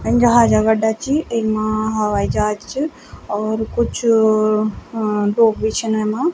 इन जहाज का अड्डा च इम्मा हवाई जहाज च और कुछ अ लोग भी छिन येमा।